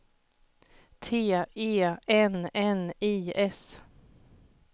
T E N N I S